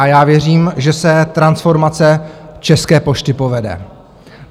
A já věřím, že se transformace České pošty povede.